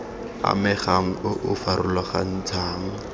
amegang o o o farologantshang